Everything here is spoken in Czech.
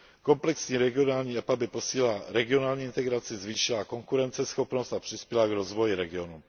Komplexní regionální EPA by posílila regionální integraci, zvýšila konkurenceschopnost a přispěla k rozvoji regionu.